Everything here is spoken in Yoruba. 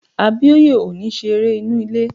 Abíóyè ò ní ṣe eré inú ilé